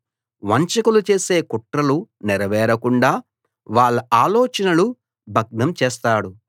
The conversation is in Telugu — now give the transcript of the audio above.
వంచకులు చేసే కుట్రలు నెరవేరకుండా వాళ్ళ ఆలోచనలు భగ్నం చేస్తాడు